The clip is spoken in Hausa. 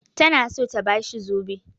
Tana so ta ba shi zobe.